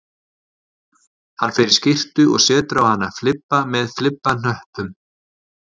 Hann fer í skyrtu og setur á hana flibba með flibbahnöppum